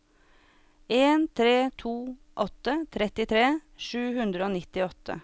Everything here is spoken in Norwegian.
en tre to åtte trettitre sju hundre og nittiåtte